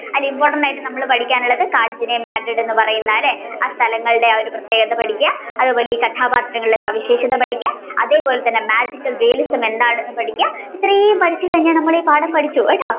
അല്ലെ important ആയിട്ട് പഠിക്കാനുള്ളത് കാഞ്ചന Madrid എന്ന് പറയുന്ന അല്ലെ ആ സ്ഥലങ്ങളുടെ ആ പ്രതേകത പഠിക്കുക അതേപോലെ ഈ കഥാപാത്രങ്ങളുടെ സവിഷേശത പഠിക്കുക അതേപോലെ തന്നെ Magical realism എന്താണെന്ന് പഠിക്കുക ഇത്രയും പഠിച്ചു കഴിഞ്ഞ നമ്മൾ ഈ പാഠം പഠിച്ചു കേട്ടോ.